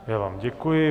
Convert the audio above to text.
Já vám děkuji.